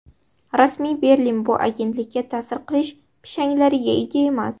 Rasmiy Berlin bu agentlikka ta’sir qilish pishanglariga ega emas.